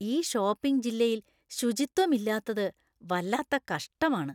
ഈ ഷോപ്പിംഗ് ജില്ലയിൽ ശുചിത്വമില്ലാത്തത് വല്ലാത്ത കഷ്ടമാണ്.